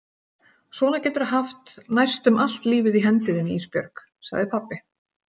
Svona geturðu haft næstum allt lífið í hendi þinni Ísbjörg, sagði pabbi.